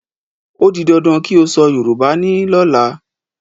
Ó di dandan kí o sọ Yorùbá ní lọ́la!